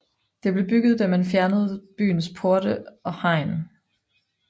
Det blev bygget da man fjernede byens porte og hegn